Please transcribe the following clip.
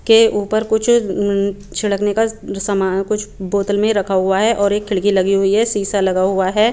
के उपर कुछ छिडकने का सामान कुछ बोतल में रखा हुआ है और एक खिड़की लगी हुई है सीसा लगा हुआ है।